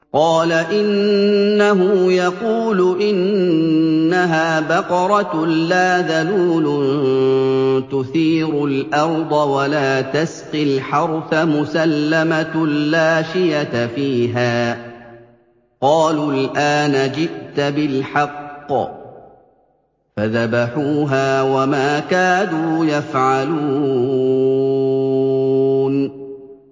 قَالَ إِنَّهُ يَقُولُ إِنَّهَا بَقَرَةٌ لَّا ذَلُولٌ تُثِيرُ الْأَرْضَ وَلَا تَسْقِي الْحَرْثَ مُسَلَّمَةٌ لَّا شِيَةَ فِيهَا ۚ قَالُوا الْآنَ جِئْتَ بِالْحَقِّ ۚ فَذَبَحُوهَا وَمَا كَادُوا يَفْعَلُونَ